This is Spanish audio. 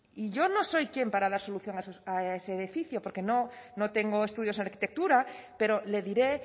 y yo no soy quién para dar solución a ese edificio porque no tengo estudios de arquitectura pero le diré